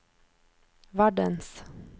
verdens